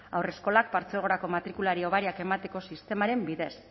haurreskolak partzuergoko matrikulari hobariak emateko sistemaren bidez